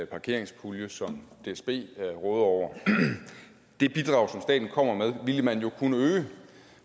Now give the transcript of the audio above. parkeringspulje som dsb råder over det bidrag som staten kommer med ville man jo kunne øge